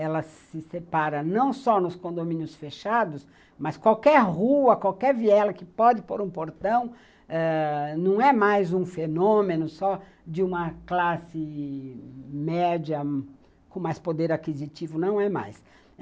Ela se separa não só nos condomínios fechados, mas qualquer rua, qualquer viela que pode por um portão eh não é mais um fenômeno só de uma classe média com mais poder aquisitivo, não é mais.